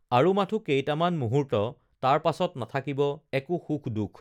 আৰু মাথো কেইটামান মুহুৰ্ত্ত তাৰ পাছত নাথাকিব একো সুখদুখ